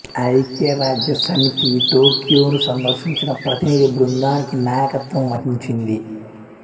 ఐక్యరాజ్య సమితి టోక్యోను సందర్శించిన ప్రతినిధి బృందానికి నాయకత్వం వహించింది